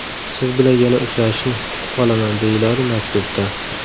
Siz bilan yana uchrashishni kutib qolaman”, − deyiladi maktubda.